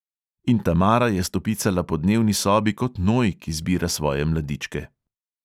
In tamara je stopicala po dnevni sobi kot noj, ki zbira svoje mladičke.